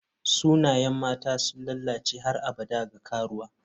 Sunayen mata sun lalace har abada ga karuwa.